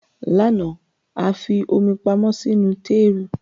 Lánàá, a fi omi pamọ́ sínú tééru